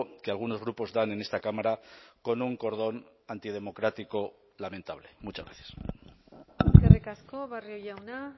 que algunos grupos dan en esta cámara con un cordón antidemocrático lamentable muchas gracias eskerrik asko barrio jauna